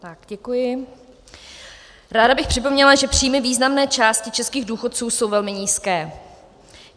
Ráda bych připomněla, že příjmy významné části českých důchodců jsou velmi nízké.